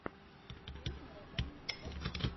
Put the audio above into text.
песня розанны пансино